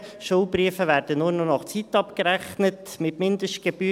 Schuldbriefe werden nur noch nach Zeit abgerechnet, mit Mindestgebühr.